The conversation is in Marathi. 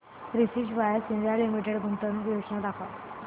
प्रिसीजन वायर्स इंडिया लिमिटेड गुंतवणूक योजना दाखव